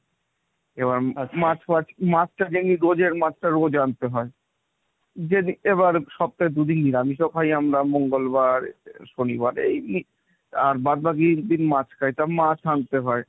এবার মাছটা ফাচ মাছটা daily রোজের মাছটা রোজ আনতে হয়। এবার সপ্তাহে দুদিন দিন, আমি তো খাই আমরা মঙ্গলবার, শনিবারে এই আর বাদবাকি দিন মাছ খাইতাম মাছ আনতে হয়।